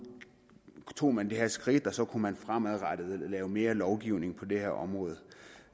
tog man det her skridt og så kunne man fremadrettet lave mere lovgivning på det her område